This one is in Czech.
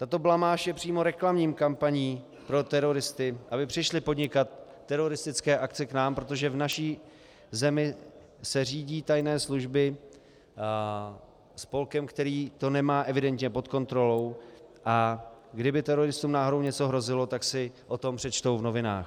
Tato blamáž je přímo reklamní kampaní pro teroristy, aby přišli podnikat teroristické akce k nám, protože v naší zemi se řídí tajné služby spolkem, který to nemá evidentně pod kontrolou, a kdyby teroristům náhodou něco hrozilo, tak si o tom přečtou v novinách.